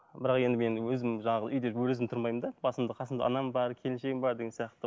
бірақ енді мен өзім жалғыз үйде өзім тұрмаймын да басымда қасымда анам бар келіншегім бар деген сияқты